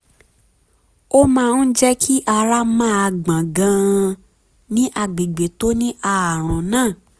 ó máa ń jẹ́ kí ara máa gbọ̀n gan-an ní àgbègbè tó ní ààrùn náà